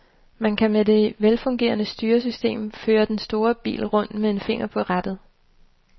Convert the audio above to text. Man kan med det velfungerende styresystem føre den store bil rundt med en finger på rattet.